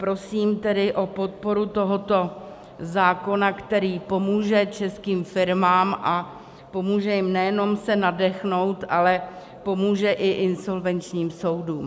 Prosím tedy o podporu tohoto zákona, který pomůže českým firmám, a pomůže jim nejenom se nadechnout, ale pomůže i insolvenčním soudům.